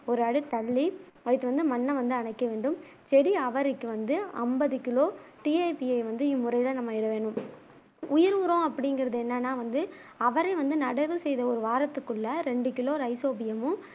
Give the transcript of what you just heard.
ஒரு அடி தள்ளி அடுத்து வந்து மண்ணை வந்து அடைக்க வேண்டும் செடி அவரைக்கு வந்து அம்பது கிலோ டி ஏ பி வந்து இம்முறையில நாம எழுதணும் உயிர் உரம் அப்பிடிங்குறது என்னனா வந்து அவரை வந்து நடவு செய்த ஒரு வாரத்துகுள்ள ரெண்டு கிலோ ரைசோபியமும்